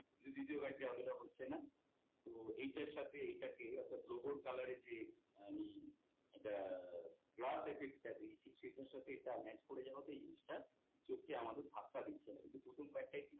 দ্বিতীয় card টা এতটা হচ্ছে না তো এইটার সাথে এইটাকে অর্থাৎ logo এর colour এর যে আমি এটা glass effect টা দিয়েছি সেটার সাথে এটা match করে যাওয়াতে এই জিনিসটা চোখে আমাদের ধাক্কা দিচ্ছে না। কিন্তু প্রথম card টায় কিন্তু